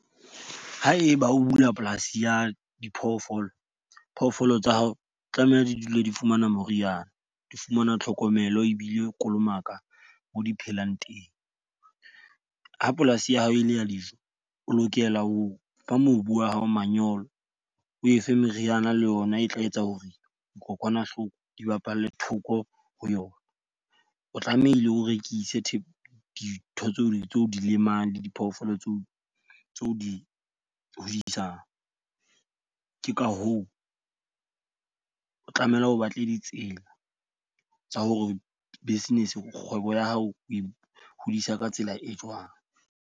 Haeba o bula polasi ya diphoofolo, phofolo tsa hao tlameha di dula di fumana moriana, di fumana tlhokomelo ebile kolomaka mo di phelang teng. Ha polasi ya hao e le ya dijo, o lokela o fa mobu wa hao manyolo. O efe meriana le ona e tla etsa hore dikokwanahloko di bapalle thoko ho yona. O tlamehile o rekise dintho tseo tseo di lemang le diphoofolo tseo tse o di isang. Ke ka hoo o tlameha o batle ditsela tsa hore business, kgwebo ya hao o e hodisa ka tsela e jwang.